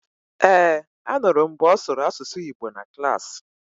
Ee, anụrụ m mgbe ọ sụrụ Asụsụ Igbo na Klaasị